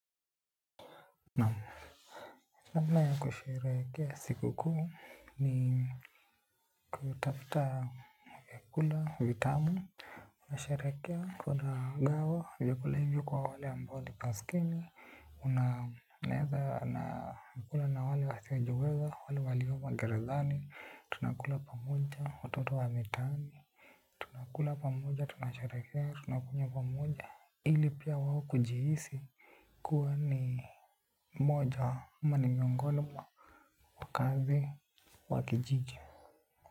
Naam, namna ya kusheherekea siku kuu ni kutafuta kula vitamu. Unasherehekea kuna gawa vyakula hivyo kwa wale ambao ni maskini. Na naenda nakula na wale wasiojiweza, wale walioko gerezani, tunakula pamoja watoto wa mitaani. Tunakula pamoja tunasherehekea, tunakunywa pamoja ili pia wao kujihisi. Kuwa ni moja ama ni miongoni mwa kambi wa kijiji.